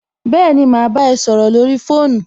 Béèni, mà á bámi ẹ sọrọ lórí fóònù